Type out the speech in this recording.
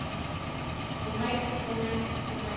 roman roman roman